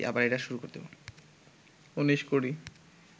উনিশ কুড়ি